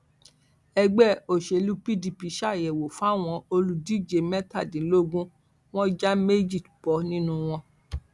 ẹgbẹ òṣèlú pdp ṣàyẹwò fáwọn olùdíje mẹtàdínlógún wọn já méjì bọ nínú wọn